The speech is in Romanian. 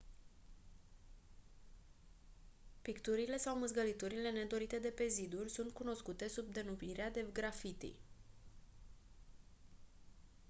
picturile sau mâzgăliturile nedorite de pe ziduri sunt cunoscute sub denumirea de graffiti